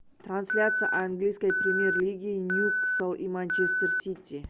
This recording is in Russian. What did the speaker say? трансляция английской премьер лиги ньюкасл и манчестер сити